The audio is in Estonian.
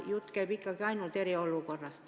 Jutt käib ikkagi ainult eriolukorrast.